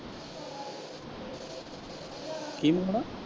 ਕੀ ਮੰਗਾਉਣਾ?